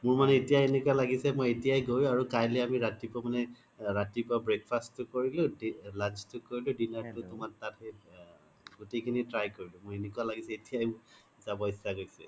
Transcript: মোৰ মানে এতিয়াই এনেকুৱা লাগিছে এতিয়াই গৈ আৰু কাইলে আমি ৰাতিপুৱা breakfast তো কৰিলো lunch তো কৰিলো dinner তুমাৰ তাত সেই গুতেই খিনি try কৰিলো মোৰ এনেকুৱা লাগিছে মই এতিয়াই যাব ইত্চ্সা গৈছে